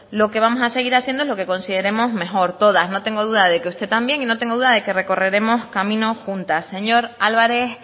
lo que vamos a seguir haciendo es lo que consideremos mejor todas no tengo duda de que usted también y no tengo duda de que recorreremos camino juntas señor álvarez